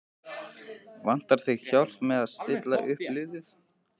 Vantar þig hjálp með að stilla upp liðið?